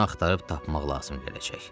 Bunu axtarıb tapmaq lazım gələcək.